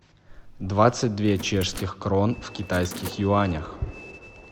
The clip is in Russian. двадцать две чешских крон в китайских юанях